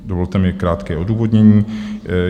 Dovolte mi krátké odůvodnění.